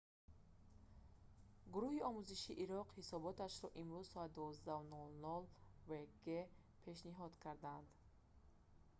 гуруҳи омӯзишии ироқ ҳисоботашро имрӯз соати 12:00 вг gmt пешниҳод карданд